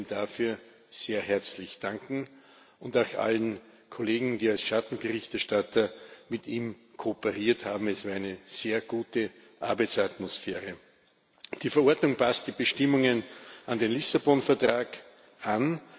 Ich möchte ihm dafür sehr herzlich danken, und auch allen Kollegen, die als Schattenberichterstatter mit ihm kooperiert haben es war eine sehr gute Arbeitsatmosphäre. Die Verordnung passt die Bestimmungen an den Lissabon Vertrag an.